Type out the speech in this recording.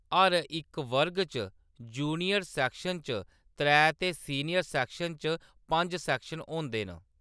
हर इक वर्ग च जूनियर सेक्शन च त्रै ते सीनियर सेक्शन च पंज सेक्शन होंदे न।